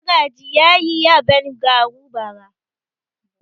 Magaji ya yi yaben garu bara.